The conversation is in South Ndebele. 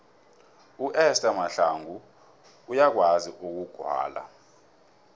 uester mahlangu uyakwazi ukugwala